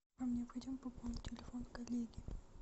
вам необходимо пополнить телефон коллеги